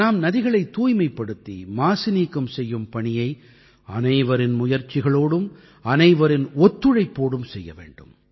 நாம் நதிகளைத் தூய்மைப்படுத்தி மாசு நீக்கம் செய்யும் பணியை அனைவரின் முயற்சிகளோடும் அனைவரின் ஒத்துழைப்போடும் செய்ய வேண்டும்